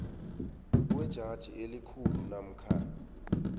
kwejaji elikhulu namkha